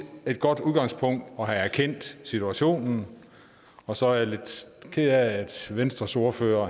godt udgangspunkt at have erkendt situationen og så er jeg lidt ked af at venstres ordfører